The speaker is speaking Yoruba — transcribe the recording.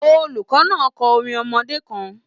Olùkọ náà n kọ orin ọmọdé kàn.